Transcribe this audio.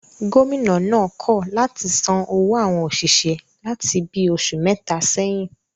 Gómìnà náà kọ̀ láti san owó àwọn òṣìṣẹ́ láti bi oṣù mẹ́ta sẹ́yìn